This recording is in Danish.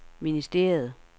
ministeriet